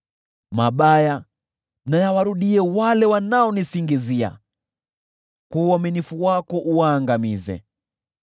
Mabaya na yawarudie wale wanaonisingizia, kwa uaminifu wako uwaangamize.